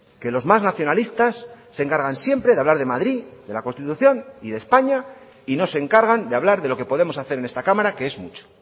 que los más nacionalistas se encargan siempre de hablar de madrid de la constitución y de españa y no se encargan de hablar de lo que podemos hacer en esta cámara que es mucho